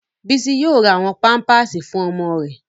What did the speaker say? Bísí yóò ra àwọn pámpásì fún ọmọ rẹ̀